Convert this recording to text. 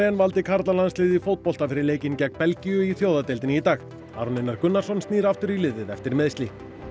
valdi karlalandsliðið í fótbolta fyrir leikinn gegn Belgíu í í dag Aron Einar Gunnarsson snýr aftur í liðið eftir meiðsli